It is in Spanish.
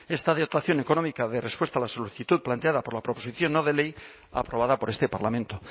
esta dotación económica da respuesta a la solicitud planteada por la proposición no de ley aprobada por este parlamento